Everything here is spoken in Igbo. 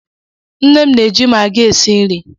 Nne m na-eji Maggi esi nri.